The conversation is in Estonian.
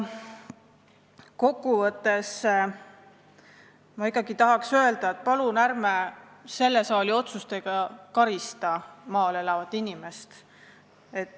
Kokku võttes tahan ikkagi öelda, et palun ärme karista selle saali otsustega maal elavat inimest.